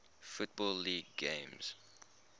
football league games